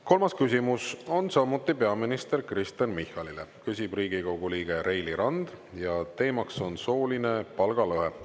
Kolmas küsimus on samuti peaminister Kristen Michalile, küsib Riigikogu liige Reili Rand ja teemaks on sooline palgalõhe.